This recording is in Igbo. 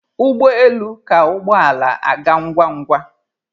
Ụgbọ elu ka ụgbọ ala aga ngwa ngwa